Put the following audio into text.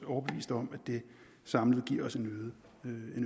overbevist om at det samlet giver os en